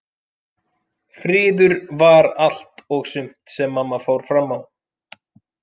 Friður var allt og sumt sem mamma fór fram á.